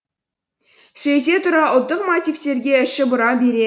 сөйте тұра ұлттық мотивтерге іші бұра береді